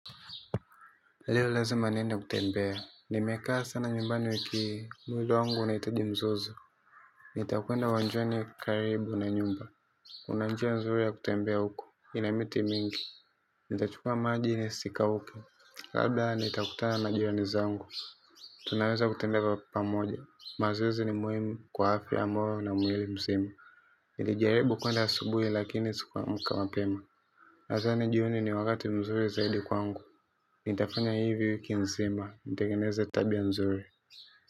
Leo lazima niende kutembea. Nimekaa sana nyumbani wiki hii mwili wangu unahitaji mzozo. Nitakwend uwanjani karibu na nyumba kuna njia nzuri ya kutembea huko. Ina miti mingi. Nitachukua maji nisikauke. Labda nitakutana na jirani zangu. Tunaweza kutembea pamoja. Mazoezi ni muhimu kwa afya ambayo na mwili mzima. Nilijaribu kwenda asubuhi lakini sikuamka mapema. Nadhani jioni ni wakati mzuri zaidi kwangu. Nitafanya hivi wiki nzima. Nitengeneze tabia nzuri.